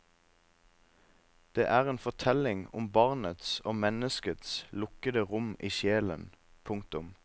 Det er en fortelling om barnets og menneskets lukkede rom i sjelen. punktum